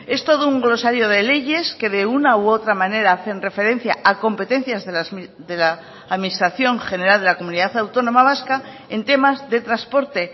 es todo un glosario de leyes que de una u otra manera hacen referencia a competencias de la administración general de la comunidad autónoma vasca en temas de transporte